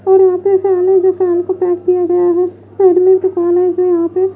और यहां पे किया गया है दुकानें हैं यहां पे।